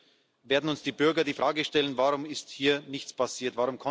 Sonst werden uns die Bürger die Frage stellen Warum ist hier nichts passiert?